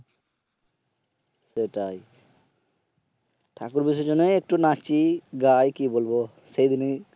সেটাই ঠাকুর বিসর্জনে একটু নাচি গাই কি বলব সেই দিনই